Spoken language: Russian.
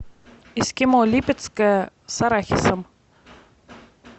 эскимо липецкое с арахисом